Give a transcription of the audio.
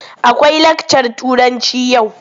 Akwai lakcar Turanci yau?